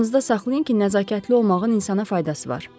“Yadınızda saxlayın ki, nəzakətli olmağın insana faydası var.”